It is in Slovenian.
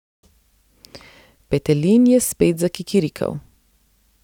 Petelin je spet zakikirikal.